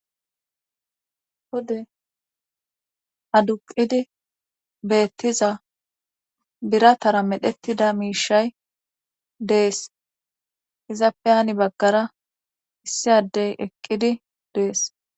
hode aduqqidi beettiza biratara medhettida miishay dees izappe hani baggara issi addey eqqidi dees.